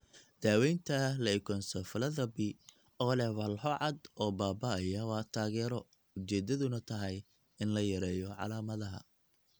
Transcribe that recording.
Daawaynta leukoencephalopathy oo leh walxo cad oo baaba'aya waa taageero, ujeedaduna tahay in la yareeyo calaamadaha.